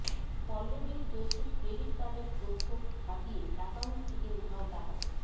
পল্লবীর জোশীর ক্রেডিট কার্ডের তথ্য হাতিয়ে অ্যাকাউন্ট থেকে উধাও টাকা